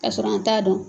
Ka sɔrɔ an t'a dɔn